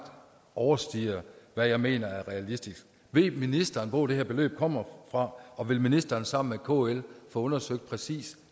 overstiger hvad jeg mener er realistisk ved ministeren hvor det her beløb kommer fra og vil ministeren sammen med kl få undersøgt præcis